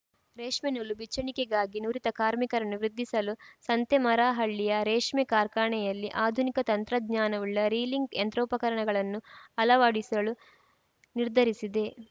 ರೇಷ್ಮೆ ನೂಲು ಬಿಚ್ಚಣಿಕೆಗಾಗಿ ನುರಿತ ಕಾರ್ಮಿಕರನ್ನು ವೃದ್ಧಿಸಲು ಸಂತೇಮರಹಳ್ಳಿಯ ರೇಷ್ಮೆ ಕಾರ್ಖಾನೆಯಲ್ಲಿ ಆಧುನಿಕ ತಂತ್ರಜ್ಞಾನವುಳ್ಳ ರೀಲಿಂಗ್‌ ಯಂತ್ರೋಪಕರಣಗಳನ್ನು ಅಳವಡಿಸಲು ನಿರ್ಧರಿಸಿದೆ